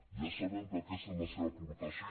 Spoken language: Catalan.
ja sabem que aquesta és la seva aportació